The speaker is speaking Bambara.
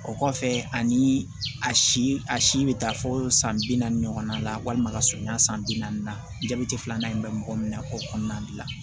O kɔfɛ ani a si a si bɛ taa fɔ san bi naani ɲɔgɔnna la walima ka surunya san bi naani na jabɛti filanan in bɛ mɔgɔ min na k'o kɔnɔna gilan